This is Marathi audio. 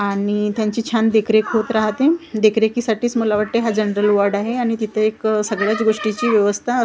आणि त्यांची छान देखरेख होत राहते. देखरेखीसाठीच मला वाटतंय हा जनरल वाॅर्ड आहे आणि तिथे एक सगळ्याच गोष्टीची व्यवस्था--